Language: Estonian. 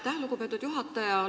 Aitäh, lugupeetud juhataja!